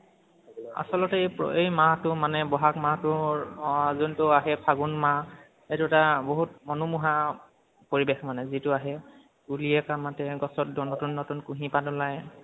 আচলতে, এই মাহটো মানে বহাগ মাহটোৰ যোনটো আহে ফাগুন মাহ, এই দুটা বহুত মনোমোহা পৰিৱেশ মানে, যিটো আহে। কুলিয়ে মাতে, গছ্ত নতুন নতুন কুহি পাত উলাই